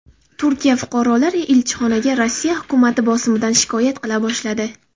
Turkiya fuqarolari elchixonaga Rossiya hukumati bosimidan shikoyat qila boshladi.